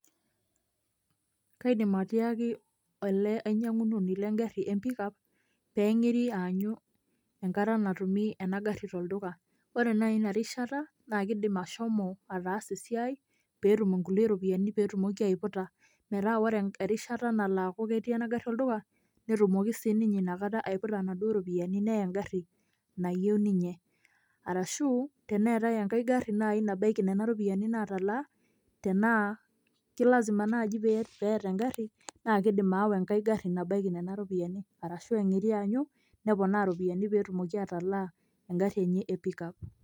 Kaidim atiaki ele ainyang'unoni legarri empikap, ping'iri aanyu enkata natumi enagarri tolduka. Ore nai inarishata, na kidim ashomo ataasa esiai, petum inkulie ropiyaiani petumoki aiputa. Metaa ore erishata nalo aku ketii enagarri olduka, netumoki sininye aiputa naduo ropiyaiani neya egarri nayieu ninye. Arashu, teneetae enkae garri nai nabaiki nena ropiyiani natalaa, tenaa ki lazima naji peeta egarri, na kiidim aawa enkai garri nabaiki nena ropiyiani. Arashu eng'iri aanyu, neponaa ropiyiani petumoki atalaa egarri enye e pick up.